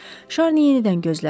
Şarni yenidən gözlərini açdı.